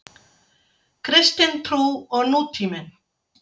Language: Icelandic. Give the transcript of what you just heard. Kristin trú og nútíminn.